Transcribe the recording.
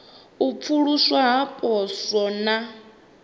u pfuluswa ha poswo na